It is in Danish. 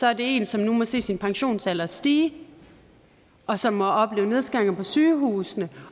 er det en som nu må se sin pensionsalder stige og som må opleve nedskæringer på sygehusene